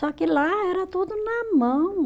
Só que lá era tudo na mão.